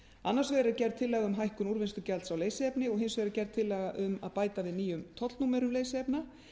annars vegar er gerð tillaga um hækkun úrvinnslugjalds á leysiefni og hins vegar er gerð tillaga um að bæta við nýjum tollnúmerum leysiefna